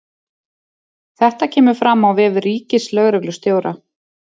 Þetta kemur fram á vef ríkislögreglustjóra